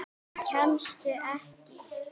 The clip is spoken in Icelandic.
Kemstu ekki?